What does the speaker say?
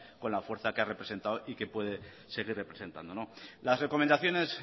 con la fuerza que ha representado y que puede seguir representando las recomendaciones